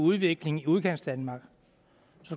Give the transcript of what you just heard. udvikling i udkantsdanmark